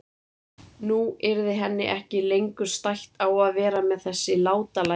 Nú yrði henni ekki lengur stætt á að vera með þessi látalæti.